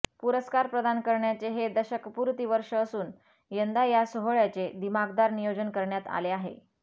पुरस्कार प्रदान करण्याचे हे दशकपुर्ती वर्ष असून यंदा या सोहळयाचे दिमाखदार नियोजन करण्यात आले आहे